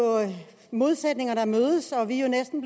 modsætninger der mødes og vi er jo næsten